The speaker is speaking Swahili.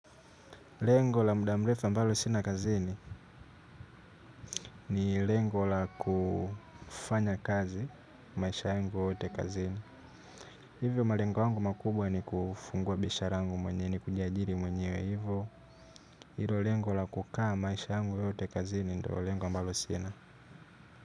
Lengo la muda mrefu ambalo sina kazini ni lengo la kufanya kazi maisha yangu yote kazini. Hivyo malengo yangu makubwa ni kufungua bishara yangu mwenyewe ni kujiajiri mwenyewe hivyo. Hilo lengo la kukaa maisha yangu yote kazini ndo lengo ambalo sina.